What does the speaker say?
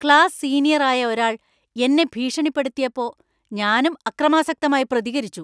Class senior ആയ ഒരാൾ എന്നെ ഭീഷണിപ്പെടുത്തിയപ്പോ ഞാനും അക്രമാസക്തമായി പ്രതികരിച്ചു.